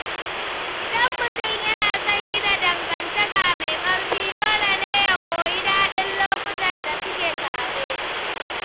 Idan mutum yana son gina dangantaka mai ƙarfi, dole ya koyi jin daɗin lokutan da suke tare.